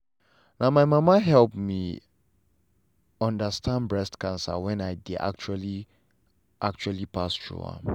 na my mama help me understand breast cancer when i dey actually actually pass through am.